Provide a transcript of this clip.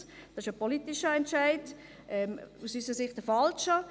Das ist ein politischer Entscheid – aus unserer Sicht ein falscher.